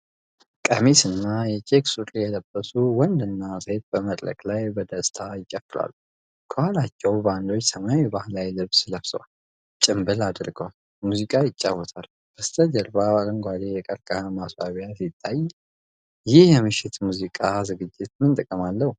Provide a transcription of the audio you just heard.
ቀሚስና የቼክ ሱሪ የለበሱ ወንድና ሴት በመድረክ ላይ በደስታ ይጨፍራሉ። ከኋላቸው ባንዶች ሰማያዊ ባህላዊ ልብስ ለብሰው፣ ጭምብል አድርገው ሙዚቃ ይጫወታሉ። በስተጀርባ አረንጓዴ የቀርከሃ ማስዋቢያ ሲታይ፣ ይህ የምሽት የሙዚቃ ዝግጅት ምን ጥቅም አለው?